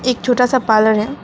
एक छोटा सा पार्लर है।